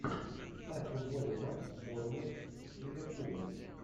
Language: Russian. ставь футбольный матч борнмут с ливерпулем